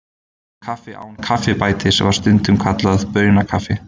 kaffi án kaffibætis var stundum kallað baunakaffi